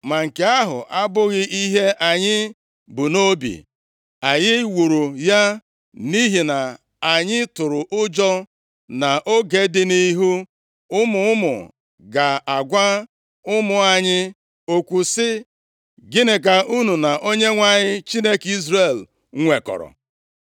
“Ma nke ahụ abụghị ihe anyị bu nʼobi! Anyị wuru ya nʼihi na anyị tụrụ ụjọ na nʼoge dị nʼihu, ụmụ unu ga-agwa ụmụ anyị okwu sị, ‘Gịnị ka unu na Onyenwe anyị, Chineke Izrel nwekọrọ?